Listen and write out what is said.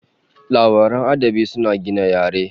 Labaran adabi suna gina yare